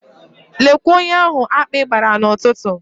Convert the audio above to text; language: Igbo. Lekwe onye ahụ akpị gbara n'ụtụtụ.